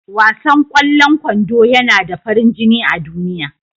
Wasan ƙwallon kwando yana da farin jini a duniya.